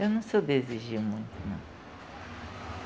Eu não sou de exigir muito, não.